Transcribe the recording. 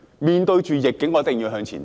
面對逆境，我們一定要向前走。